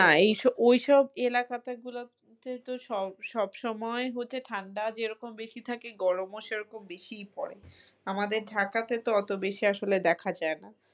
না এসব ওইসব এলাকাতে গুলোতে তো সব সবসময় হতে ঠান্ডা যেরকম বেশি থাকে গরমও সেরকম বেশিই পড়ে আমাদের ঠান্ডাত আসলে অত বেশি দেখা যায় না।